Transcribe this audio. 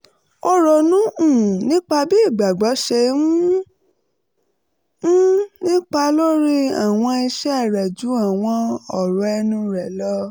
ó ronú um nípa bí ìgbàgbọ́ ṣe um ń nípa lórí àwọn ìṣe rẹ̀ ju àwọn ọ̀rọ̀ ẹnu rẹ̀ lọ